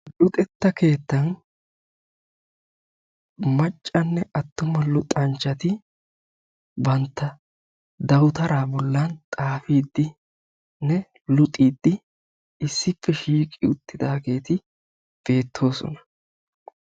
Luxetta keettan maccanne attuma luxanchchati bantta dawutaraa bollan xaafiiddinne luxiiddi issippe shiiqi uttidaageeti beettoosona.